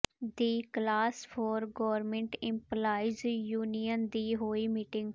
ਦੀ class four government employees union ਦੀ ਹੋਈ meeting